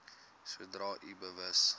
sodra u bewus